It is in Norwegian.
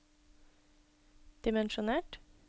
dimensjonert